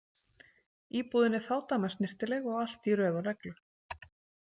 Íbúðin er fádæma snyrtileg og allt í röð og reglu.